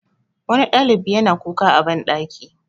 wani ɗalibi ya yana kuka a banɗaki